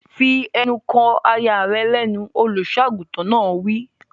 Fi ẹnu kò aya rẹ lẹ́nu! Olùsọ àgùntàn náà wí.